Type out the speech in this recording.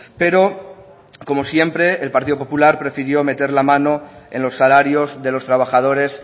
pero como siempre el partido popular prefirió meter la mano en los salarios de los trabajadores